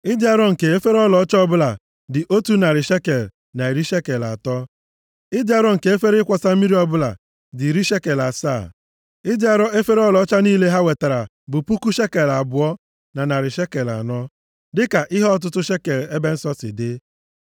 Ịdị arọ nke efere ọlaọcha ọbụla dị otu narị shekel na iri shekel atọ. Ịdị arọ nke efere ịkwọsa mmiri ọbụla dị iri shekel asaa. Ịdị arọ efere ọlaọcha niile ha wetara bụ puku shekel abụọ na narị shekel anọ, + 7:85 Puku shekel abụọ na narị shekel anọ nke a bụ kilogram iri abụọ na asatọ dịka ihe ọtụtụ shekel ebe nsọ si dị.